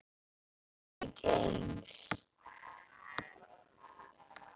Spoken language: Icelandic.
Alveg eins!